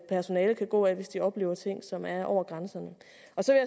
personalet kan gå ad hvis de oplever ting som er over grænsen